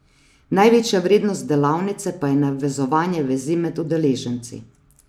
Največja vrednost delavnice pa je navezovanje vezi med udeleženci.